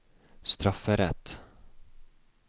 strafferett